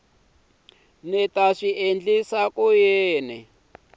ta swi endlisa ku yini